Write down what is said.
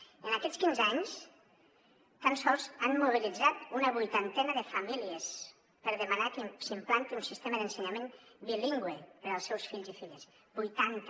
en aquests quinze anys tan sols han mobilitzat una vuitantena de famílies per demanar que s’implanti un sistema d’ensenyament bilingüe per als seus fills i filles vuitanta